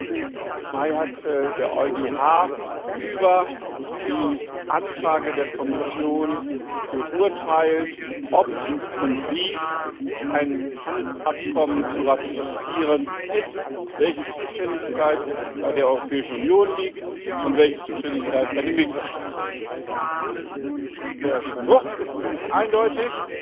16. Mai hat der EuGH über die Anfrage der Kommission geurteilt, ob und wie ein Handelsabkommen zu ratifizieren ist, welche Zuständigkeit bei der Europäischen Union liegt und welche Zuständigkeit bei den Mitgliedstaaten liegt. Der Spruch ist ziemlich eindeutig